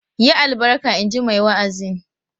"Yi albarka!" in ji mai wa'azin.